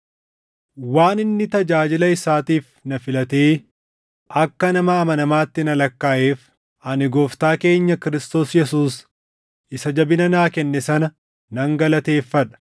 Waan inni tajaajila isaatiif na filatee akka nama amanamaatti na lakkaaʼeef, ani Gooftaa keenya Kiristoos Yesuus isa jabina naa kenne sana nan galateeffadha.